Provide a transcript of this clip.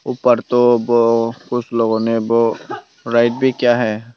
ऊपर तो वो कुछ लोगो ने वो भी किया है।